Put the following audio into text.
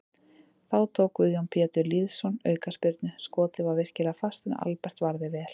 Þá tók Guðjón Pétur Lýðsson aukaspyrnu, skotið var virkilega fast en Albert varði vel.